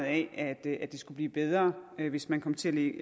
at det skulle blive bedre hvis man kom til